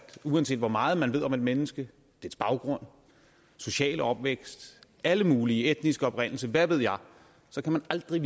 uanset hvor meget man ved om et menneske dets baggrund sociale opvækst alle mulige ting etnisk oprindelse hvad ved jeg så kan man aldrig